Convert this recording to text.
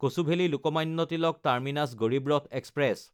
কচুভেলি–লোকমান্য Tilak terminus Garib Rath express